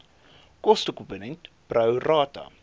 kostekomponent pro rata